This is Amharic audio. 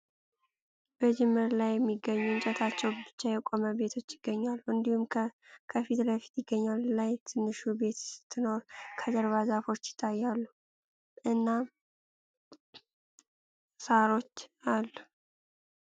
በጅምር ላይ የሚገኙ እንጨታቸው ብቻ የቆመ ቤቶች ይገኛሉ ። እንዲሁም ከፍለፊት ይገኛል ላይ ትንሽዬ ቤት ስትኖር ከጀርባ ዛፎች ይታያሉ እና ሳሮች አሉ ።